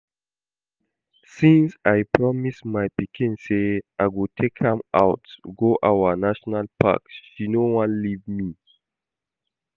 Since I promise my pikin say I go take am out go our National Park she no wan leave me